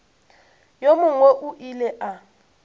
yo mongwe o ile a